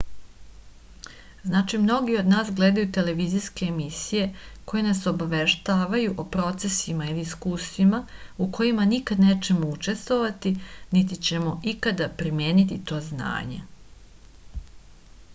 znači mnogi od nas gledaju televizijske emisije koje nas obaveštavaju o procesima ili iskustvima u kojima nikad nećemo učestovati niti ćemo ikad primeniti to znanje